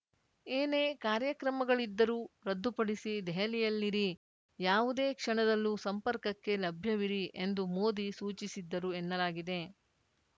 ಏನೇ ಕಾರ್ಯಕ್ರಮಗಳಿದ್ದರೂ ರದ್ದುಪಡಿಸಿ ದೆಹಲಿಯಲ್ಲಿರಿ ಯಾವುದೇ ಕ್ಷಣದಲ್ಲೂ ಸಂಪರ್ಕಕ್ಕೆ ಲಭ್ಯವಿರಿ ಎಂದು ಮೋದಿ ಸೂಚಿಸಿದ್ದರು ಎನ್ನಲಾಗಿದೆ